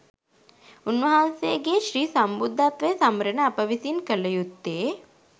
උන්වහන්සේගේ ශ්‍රී සම්බුද්ධත්වය සමරන අප විසින් කළ යුත්තේ